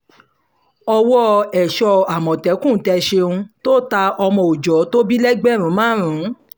ọwọ́ èso àmọ̀tẹ́kùn tẹ ṣéun tó ta ọmọ òòjọ́ tó bí lẹ́gbẹ̀rún márùn lẹ́gbẹ̀rún márùn